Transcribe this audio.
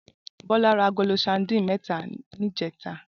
Bola rá àgóló sàdín mètá nijètá